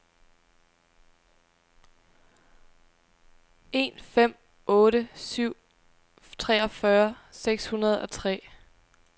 en fem otte syv treogfyrre seks hundrede og tre